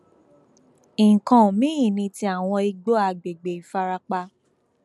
nǹkan mìín ni ti àwọn igbó àgbègbè ìfarapa